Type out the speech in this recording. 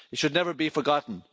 It should never be forgotten.